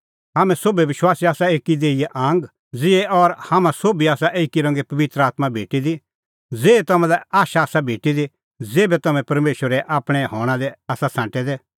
हाम्हैं सोभै विश्वासी आसा एकी ई देहीए आंगा ज़िहै और हाम्हां सोभी आसा एकी रंगे पबित्र आत्मां भेटी दी ज़ेही तम्हां लै आशा आसा भेटी दी ज़ेभै तम्हैं परमेशरे आपणैं हणां लै आसा छ़ांटै दै